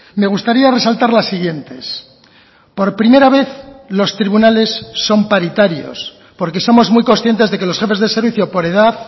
me gustaría resaltar las siguientes por primera vez los tribunales son paritarios porque somos muy conscientes de que los jefes de servicio por edad